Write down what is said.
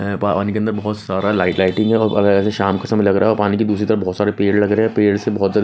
है पा पानी के अंदर बहुत सारा लाइट लाइटिंग है और वगैरह से शाम का समय लग रहा और पानी की दूसरी तरफ बहुत सारे पेड़ लग रहे पेड़ से बहुत सारे--